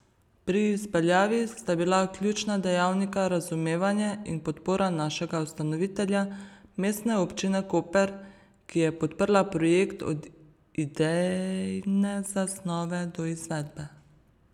Pri izpeljavi sta bila ključna dejavnika razumevanje in podpora našega ustanovitelja, Mestne občine Koper, ki je podprla projekt od idejne zasnove do izvedbe.